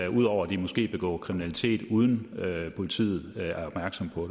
om ud over at de måske begår kriminalitet uden at politiet er opmærksom på